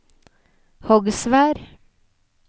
Hogsvær